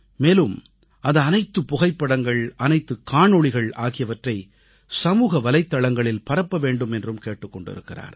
மேலும் அந்த அனைத்துப் புகைப்படங்கள் அனைத்துக் காணொளிகள் ஆகியவற்றை சமூக வலைத்தளங்களில் பரப்ப வேண்டும் என்றும் கேட்டுக் கொண்டிருக்கிறார்